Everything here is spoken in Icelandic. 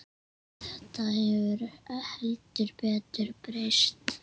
Þetta hefur heldur betur breyst.